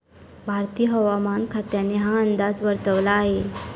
भारतीय हवामान खात्याने हा अंदाज वर्तवला आहे.